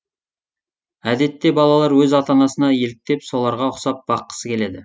әдетте балалар өз ата анасына еліктеп соларға ұқсап баққысы келеді